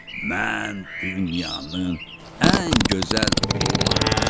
Mən dünyanın ən gözəl heyvanıyam.